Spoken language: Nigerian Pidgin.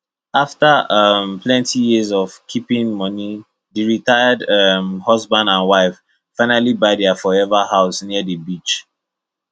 after um plenty years of keeping money the retired um husband and wife finally buy their forever home near the beach